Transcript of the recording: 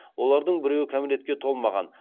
олардың біреуі кәмелетке толмаған